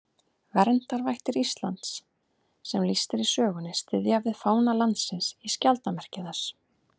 Verndarvættir Íslands sem lýst er í sögunni styðja við fána landsins í skjaldarmerki þess.